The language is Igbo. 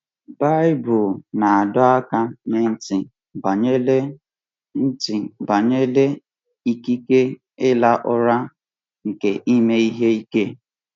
Baịbụl na-adọ aka ná ntị banyere ntị banyere ikike ịra ụra nke ime ihe ike.